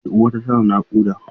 Yar uwata tana naƙuda.